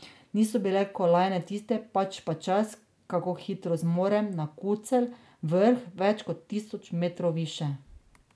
Niso bile kolajne tiste, pač pa čas, kako hitro zmorem na Kucelj, vrh, več kot tisoč metrov više.